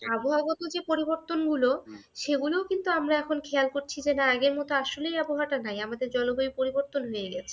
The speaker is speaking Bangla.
আবহাওয়াগত যে পরিবর্তনগুলো সেগুলো কিন্তু আমরা এখন খেয়াল করছি। না আগের মত আসলেই আমাদের আবহাওয়াটা নাই। আমাদের জলবায়ু পরিবর্তন হয়ে গেছে।